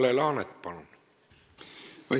Kalle Laanet, palun!